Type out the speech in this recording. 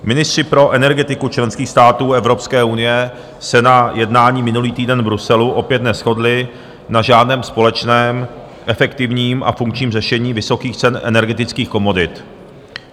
Ministři pro energetiku členských států Evropské unie se na jednání minulý týden v Bruselu opět neshodli na žádném společném efektivním a funkčním řešení vysokých cen energetických komodit.